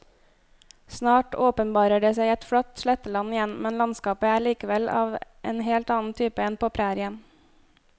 Snart åpenbarer det seg et flatt sletteland igjen, men landskapet er likevel av en helt annen type enn på prærien.